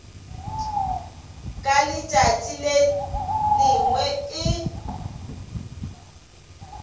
ka letšatši le lengwe e